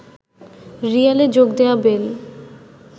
রিয়ালে যোগ দেয়া বেল